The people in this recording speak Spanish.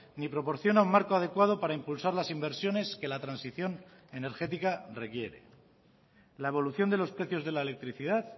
ni proporciona un marco adecuado para impulsar las inversiones que la transición energética requiere la evolución de los precios de la electricidad